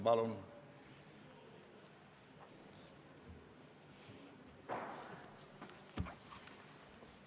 Palun!